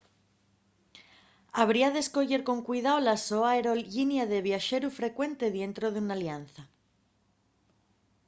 habría d’escoyer con cuidao la so aerollinia de viaxeru frecuente dientro d’una alianza